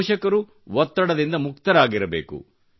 ಪೋಷಕರು ಒತ್ತಡದಿಂದ ಮುಕ್ತರಾಗಿರಬೇಕು